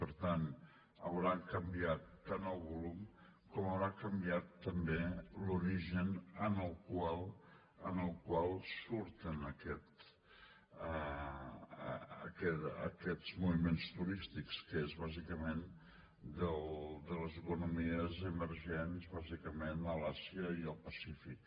per tant haurà canviat tant el volum com haurà canviat també l’origen del qual surten aquests moviments turístics que és bàsicament de les economies emergents bàsicament a l’àsia i al pacífic